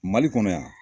Mali kɔnɔ yan